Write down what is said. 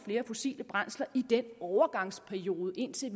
flere fossile brændsler i den overgangsperiode indtil